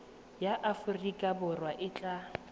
ya aforika borwa e tla